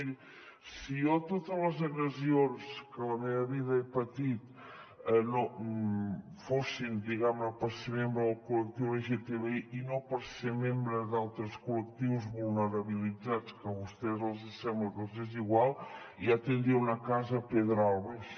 miri si jo totes les agressions que a la meva vida he patit fossin diguem ne per ser membre del col·lectiu lgtbi i no per ser membre d’altres col·lectius vulnerabilitzats que a vostès els sembla que els és igual ja tindria una casa a pedralbes